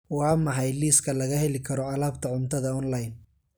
waa maxay liiska laga heli karo alaabta cuntada online